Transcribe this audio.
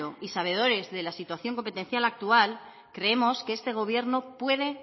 y sabedores de la situación competencial actual creemos que este gobierno puede